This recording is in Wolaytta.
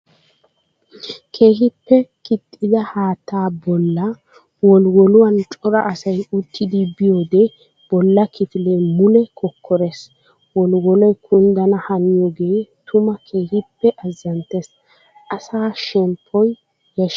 Keehippe kixxidda haatta bolla wolliwolluwan cora asay uttiddi biyoode bolla kifile mule kokkorees. Wolliwoloy kunddana haniyooge tuma keehippe azanttees asaa shemppoy yeeshees.